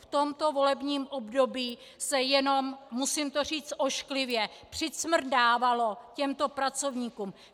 V tomto volebním období se jenom - musím to říct ošklivě - přicmrdávalo těmto pracovníkům.